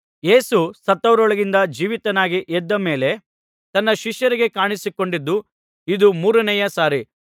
ಯೇಸು ಸತ್ತವರೊಳಗಿಂದ ಜೀವಿತನಾಗಿ ಎದ್ದ ಮೇಲೆ ತನ್ನ ಶಿಷ್ಯರಿಗೆ ಕಾಣಿಸಿಕೊಂಡದ್ದು ಇದು ಮೂರನೆಯ ಸಾರಿ